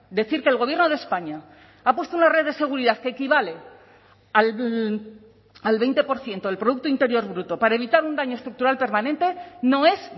decir que el gobierno de españa ha puesto una red de seguridad que equivale al veinte por ciento del producto interior bruto para evitar un daño estructural permanente no es